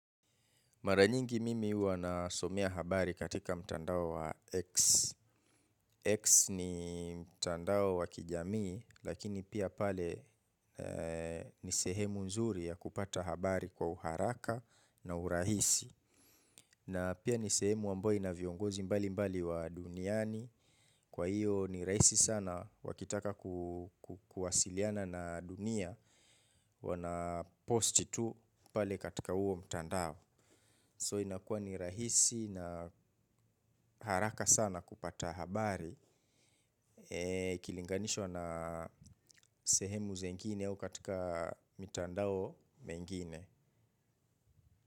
Mara nyingi mimi huwa nasomea habari katika mtandao wa X. X ni mtandao wa kijamii, lakini pia pale ni sehemu nzuri ya kupata habari kwa uharaka na urahisi. Na pia ni sehemu ambayo inaviongozi mbali mbali wa duniani. Kwa hiyo ni rahisi sana wakitaka kuwasiliana na dunia wanaposti tu pale katika huo mtandao So inakuwa ni rahisi na haraka sana kupata habari ikilinganishwa na sehemu zengine au katika mitandao mengine.